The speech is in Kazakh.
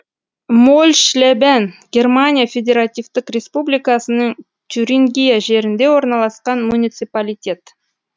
мольшлебен германия федеративтік республикасының тюрингия жерінде орналасқан муниципалитет